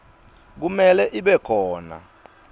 kumele ibe khona